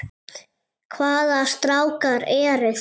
Hvaða strákar eru það?